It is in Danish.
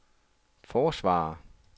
forsvarer